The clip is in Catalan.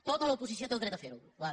tota l’oposició té el dret de fer ho boada